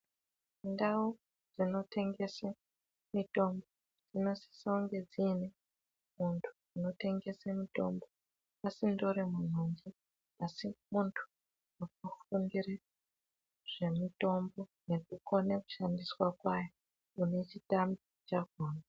Ndau dzinotengeswe mitombo dzinosisounge dziine muntu unotengese mitombo, asindori munhunje asi muntu akafundire zvemitombo nekukone kushandiswa kwayo, une chitambi chazvona.